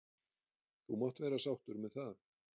. þú mátt vera sáttur með það.